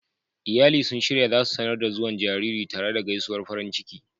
Iyali sun shirya za su sanar da zuwan jaririn tare da gaisuwar farin ciki.